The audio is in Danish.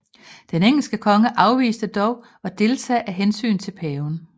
Den engelske konge afviste dog at deltage af hensyn til paven